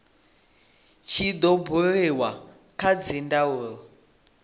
tshi do buliwa kha dzindaulo